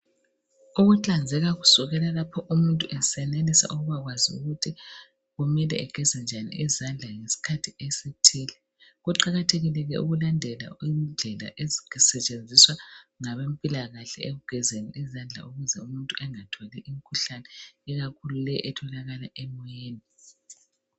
Ukuhlanzeka kusukela lapho umuntu esenelisa ukubakwazi ukuthi kumele ageze njani izandla ngesikhathi esithile. Kuqakathekile ukulandela indlela ezisetshenziswa ngabempilakahle ekugezeni izandla ukuthi umuntu bengatholi imkhuhlane ikakhulu leyi etholakala emoyeni.